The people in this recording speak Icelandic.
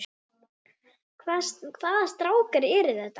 Hvaða strákar eru það?